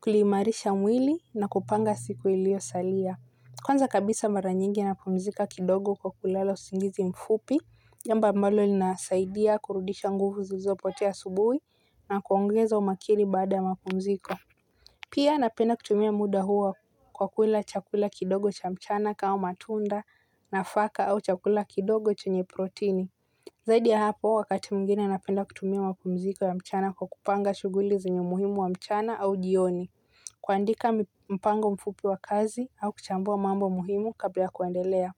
kuimarisha mwili na kupanga siku ilio salia. Kwanza kabisa mara nyingi napumzika kidogo kwa kulala usingizi mfupi, jambo ambalo linasaidia kurudisha nguvu zilizopotea asubuhi na kuongeza umakini baada ya mapumziko. Pia napenda kutumia muda huo kwa kula chakula kidogo cha mchana kama matunda nafaka au chakula kidogo chenye protini. Zaidi ya hapo, wakati mwingine ya napenda kutumia mapumziko ya mchana kwa kupanga shughuli zenye umuhimu wa mchana au jioni. Kuandika mpango mfupi wa kazi au kuchambua mambo muhimu kabla kuendelea.